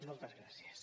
moltes gràcies